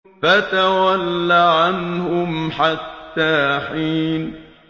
فَتَوَلَّ عَنْهُمْ حَتَّىٰ حِينٍ